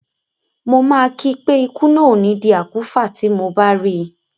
Mo máa kí i pé ikú náà ò ní di àkúfà tí mo bá rí i.